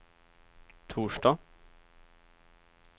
torsdag